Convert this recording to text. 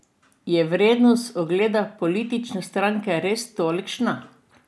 Je vrednost ugleda politične stranke res tolikšna?